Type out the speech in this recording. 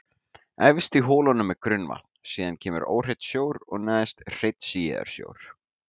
Efst í holunum er grunnvatn, síðan kemur óhreinn sjór og neðst hreinn síaður sjór.